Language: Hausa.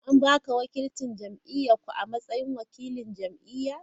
An ba ka wakilcin jam’iyyar ku a matsayin wakilin jam’iyya?